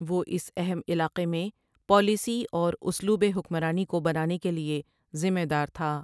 وہ اس اہم علاقے میں پالیسی اور اسلوب حکمرانی کو بنانے کے لیے ذمہ دار تھا ۔